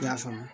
I y'a faamu